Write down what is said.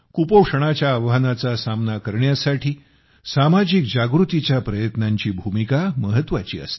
कुपोषणाच्या आव्हानाचा सामना करण्यासाठी सामाजिक जागृतीच्या प्रयत्नांची भूमिका महत्वाची असते